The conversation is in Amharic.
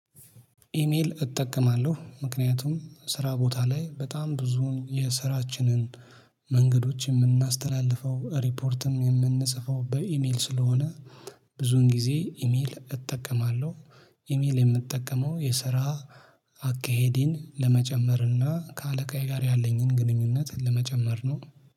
ኢሜል እጠቀማለሁ ምክንያቱም ስራ ቦታ ላይ በጣም ብዙ የስራችንን መንገዶች የምናስተላልፈው ሪፖርትም የምንጽፈው በኢሜል ስለሆነ ብዙን ጊዜ ኢሜል እጠቀማለሁ። ኢሜል የምጠቀመው የስራ አካሄዴን ለመጨመር እና ከአለቃዬ ጋር ያለኝን ግንኙነት ለመጨመር ነው